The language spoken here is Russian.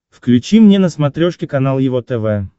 включи мне на смотрешке канал его тв